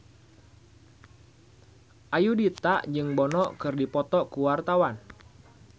Ayudhita jeung Bono keur dipoto ku wartawan